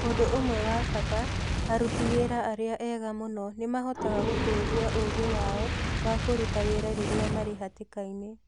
Ũndũ ũmwe wa bata: Aruti wĩra arĩa ega mũno nĩ mahotaga gũtũũria ũũgĩ wao wa kũruta wĩra rĩrĩa marĩ hatĩka-inĩ.